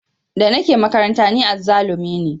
Da nake makaranta ni azzalumi ne